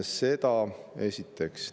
Seda esiteks.